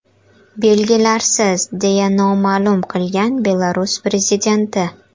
Belgilarsiz”, deya ma’lum qilgan Belarus prezidenti.